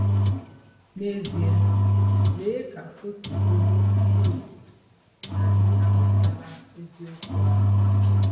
N'ezie, lee ka o si bụrụ ihe ùgwù na anyị amụtala eziokwu ahụ!